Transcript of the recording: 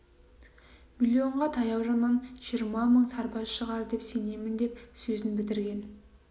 миллионға таяу жаннан жиырма мың сарбаз шығар деп сенемін деп сөзін бітірген